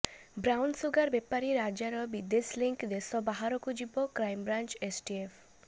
brown sugar ବେପାରୀ ରାଜାର ବିଦେଶ ଲିଙ୍କ୍ ଦେଶ ବାହାରକୁ ଯିବ କ୍ରାଇମବ୍ରାଞ୍ଚ ଏସଟିଏଫ